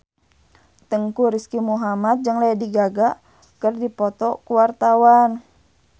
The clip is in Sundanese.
Teuku Rizky Muhammad jeung Lady Gaga keur dipoto ku wartawan